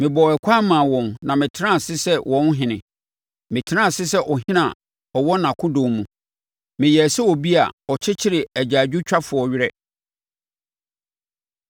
Mebɔɔ ɛkwan maa wɔn na metenaa ase sɛ wɔn ɔhene; metenaa ase sɛ ɔhene a ɔwɔ nʼakodɔm mu; meyɛɛ sɛ obi a ɔkyekyere agyaadwotwafoɔ werɛ.